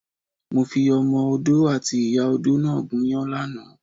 Mo fi Ọmọ Odó àti ìyá odó náà gúnyán lánàá.